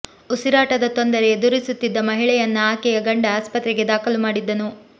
ಉಸಿರಾಟದ ತೊಂದರೆ ಎದುರಿಸುತ್ತಿದ್ದ ಮಹಿಳೆಯನ್ನ ಆಕೆಯ ಗಂಡ ಆಸ್ಪತ್ರೆಗೆ ದಾಖಲು ಮಾಡಿದ್ದನು